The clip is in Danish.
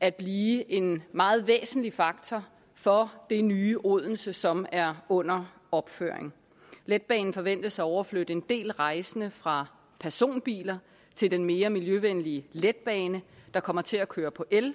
at blive en meget væsentlig faktor for det nye odense som er under opførelse letbanen forventes at overflytte en del rejsende fra personbiler til den mere miljøvenlige letbane der kommer til at køre på el